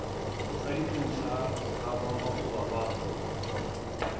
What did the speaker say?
sa ditlou sa gamakgoba ba